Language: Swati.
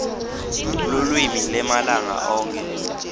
lulwimi lwemalanga onkhe